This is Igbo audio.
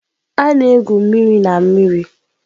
A na-egwu mmiri na mmiri.